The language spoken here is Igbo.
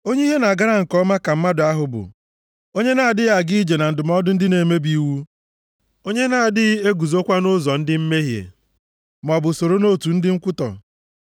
Onye ihe na-agara nke ọma ka mmadụ ahụ bụ, onye na-adịghị aga ije na ndụmọdụ ndị na-emebi iwu; onye na-adịghị eguzokwa nʼụzọ ndị mmehie maọbụ soro nʼotu ndị nkwutọ.